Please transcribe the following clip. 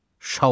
Şaoub.